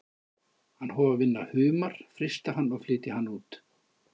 Hann hóf að vinna humar, frysta hann og flytja hann út.